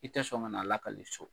I tɛ sɔn kan'a lakali so.